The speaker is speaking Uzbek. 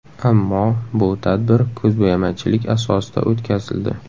Ammo bu tadbir ko‘zbo‘yamachilik asosida o‘tkazildi.